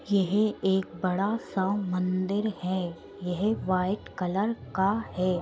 यह एक बड़ा सा मंदिर है। यह वाइट कलर का है।